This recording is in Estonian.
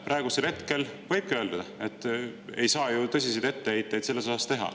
Praegusel hetkel võibki öelda, et ei saa ju tõsiseid etteheiteid selles osas teha.